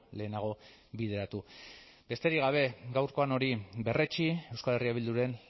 lehenago bideratu besterik gabe gaurkoan hori berretsi euskal herria bilduren